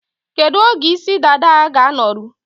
Kedu oge isi dada a ga-anọrụ?